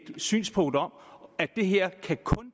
synspunkt om at det her kun